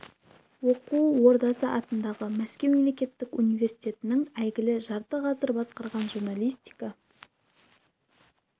оқу ордасы атындағы мәскеу мемлекеттік университетінің әйгілі жарты ғасыр басқарған журналистика